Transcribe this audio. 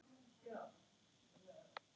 Guð ætli þau viti.